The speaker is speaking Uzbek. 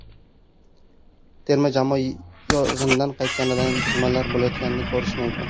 Terma jamoa yig‘inidan qaytganimdan keyin nimalar bo‘layotganini ko‘rishim mumkin.